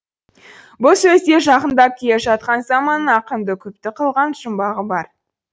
бұл сөзде жақындап келе жатқан заманның ақынды күпті қылған жұмбағы бар